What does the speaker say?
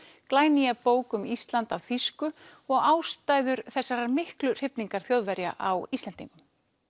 glænýja bók um Ísland á þýsku og ástæður þessarar miklu hrifningar Þjóðverja á Íslendingum